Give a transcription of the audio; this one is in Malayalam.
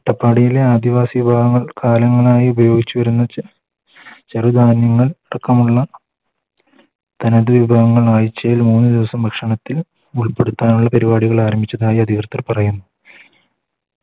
അട്ടപ്പാടിയിലെ ആദിവാസി ജനങ്ങൾ കാലങ്ങളായി ഉപയോഗിച്ച് വരുന്ന ചെചെറു ധാന്യങ്ങൾ അടക്കമുള്ള തനതു വിഭവങ്ങൾ ആഴ്ചയിൽ മൂന്ന് ദിവസം ഭക്ഷണത്തിന് ഉൾപ്പെടുത്താനുള്ള പരിപാടികൾ ആരംഭിച്ചതായി അധികൃതർ പറയുന്നു